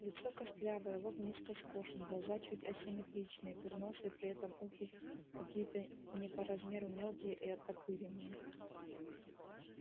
лицо костлявое лоб низко скошен глаза чуть асимметричные курносый при этом ухи какие-то не по размеру мелкие и оттопыренные